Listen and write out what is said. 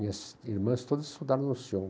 Minhas irmãs todas estudaram no Sion.